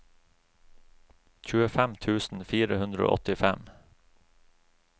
tjuefem tusen fire hundre og åttifem